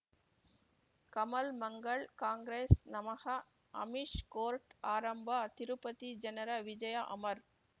ಕಮಲ್ ಮಂಗಳ್ ಕಾಂಗ್ರೆಸ್ ನಮಃ ಅಮಿಷ್ ಕೋರ್ಟ್ ಆರಂಭ ತಿರುಪತಿ ಜನರ ವಿಜಯ ಅಮರ್